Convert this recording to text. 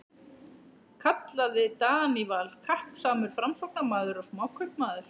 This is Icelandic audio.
kallaði Daníval, kappsamur Framsóknarmaður og smákaupmaður.